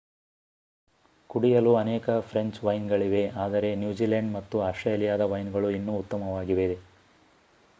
ಕುಡಿಯಲು ಅನೇಕ ಫ್ರೆಂಚ್ ವೈನ್ಗಳಿವೆ ಆದರೆ ನ್ಯೂಜಿಲೆಂಡ್ ಮತ್ತು ಆಸ್ಟ್ರೇಲಿಯಾದ ವೈನ್ಗಳು ಇನ್ನೂ ಉತ್ತಮವಾಗಿದೆ